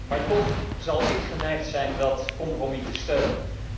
Maar toch zal ik geneigd zijn dat compromis te steunen.